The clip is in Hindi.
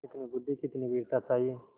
कितनी बुद्वि कितनी वीरता चाहिए